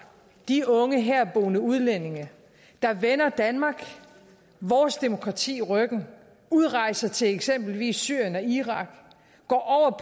de unge herboende udlændinge der vender danmark vores demokrati ryggen udrejser til eksempelvis syrien og irak